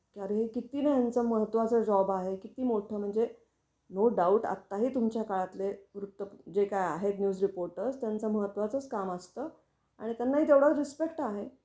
कारण हे कितीना ह्यांचा महत्त्वाचा जॉब आहे किती मोठ म्हणजे, नो डाऊट आताही तुमच्या काळातले वृत्त जे काय आहे न्यूज रिपोर्टर्स त्यांच महत्त्वाचच काम असतं आणि त्यांनाही तेवढाच रिस्पेक्ट आहे.